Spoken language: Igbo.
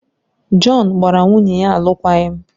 Jọn gbara nwunye ya alụkwaghịm